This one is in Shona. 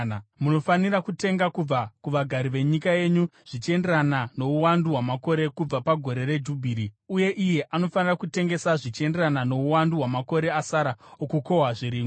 Munofanira kutenga kubva kuvagari venyika yenyu zvichienderana nouwandu hwamakore kubva pagore reJubhiri. Uye iye anofanira kutengesa zvichienderana nouwandu hwamakore asara okukohwa zvirimwa.